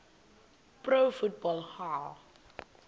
pro football hall